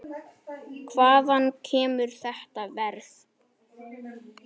Hvaðan kemur þetta verð?